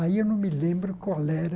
Aí eu não me lembro qual era.